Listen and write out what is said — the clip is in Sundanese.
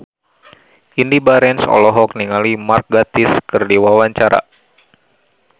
Indy Barens olohok ningali Mark Gatiss keur diwawancara